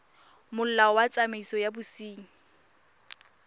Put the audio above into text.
molao wa tsamaiso ya bosenyi